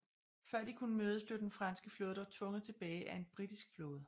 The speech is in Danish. Før de kunne mødes blev den franske flåde dog tvunget tilbage af en britisk flåde